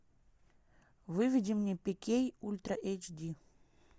выведи мне пикей ультра эйч ди